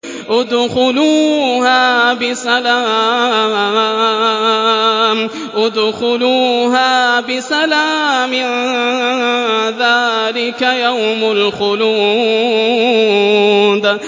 ادْخُلُوهَا بِسَلَامٍ ۖ ذَٰلِكَ يَوْمُ الْخُلُودِ